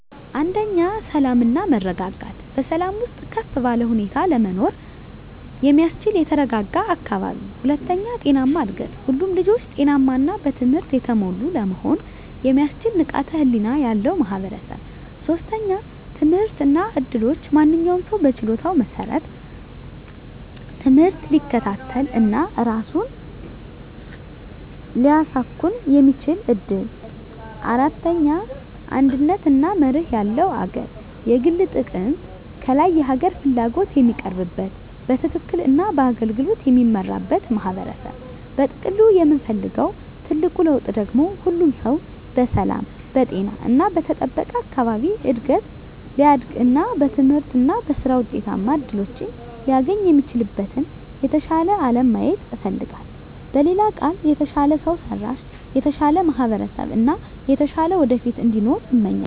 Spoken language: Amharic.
1. ሰላም እና መረጋጋት በሰላም ውስጥ ከፍ ባለ ሁኔታ ለመኖር የሚያስችል የተረጋጋ አካባቢ። 2. ጤናማ እድገት ሁሉም ልጆች ጤናማ እና በትምህርት የተሞሉ ለመሆን የሚያስችል ንቃተ ህሊና ያለው ማህበረሰብ። 3. ትምህርት እና እድሎች ማንኛውም ሰው በችሎታው መሰረት ትምህርት ሊከታተል እና ራሱን ሊያሳኵን የሚችልበት እድል። 4. አንድነት እና መርህ ያለው አገር የግል ጥቅም ከላይ የሀገር ፍላጎት የሚቀርብበት፣ በትክክል እና በአገልግሎት የሚመራበት ማህበረሰብ። በጥቅሉ የምፈልገው ትልቁ ለውጥ ደግሞ ሁሉም ሰው በሰላም፣ በጤና እና በተጠበቀ አካባቢ እድገት ሊያድግ እና በትምህርት እና በሥራ ውጤታማ እድሎችን ሊያገኝ የሚችልበትን የተሻለ አለም ማየት እፈልጋለሁ። በሌላ ቃል፣ የተሻለ ሰው ሰራሽ፣ የተሻለ ማህበረሰብ እና የተሻለ ወደፊት እንዲኖር እመኛለሁ።